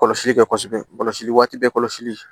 Kɔlɔsili kɛ kosɛbɛ kɔlɔsili waati bɛɛ kɔlɔsili